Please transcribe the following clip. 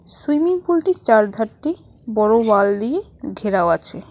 Swimming পুলটির চার ধারটি বড় ওয়াল দিয়ে ঘেরাও আছে।